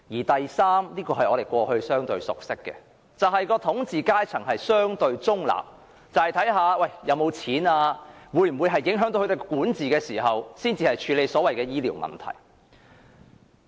第三，是我們過去相對熟悉的做法，亦即統治階層相對中立，視乎有沒有金錢及會否影響他們的管治，才會處理醫療問題。